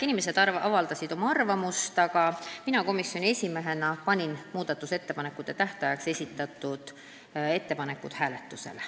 Inimesed avaldasid oma arvamust, mina komisjoni esimehena panin tähtajaks esitatud muudatusettepanekud hääletusele.